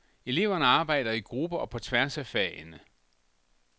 Eleverne arbejder i grupper og på tværs af fagene.